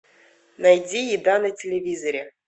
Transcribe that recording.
найди еда на телевизоре